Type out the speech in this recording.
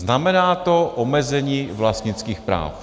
Znamená to omezení vlastnických práv.